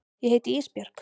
Ég heiti Ísbjörg.